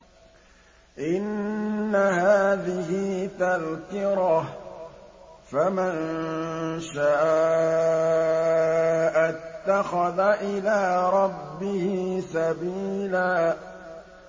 إِنَّ هَٰذِهِ تَذْكِرَةٌ ۖ فَمَن شَاءَ اتَّخَذَ إِلَىٰ رَبِّهِ سَبِيلًا